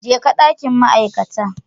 Jeka dakin ma'aikata.